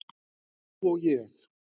Þú og ég!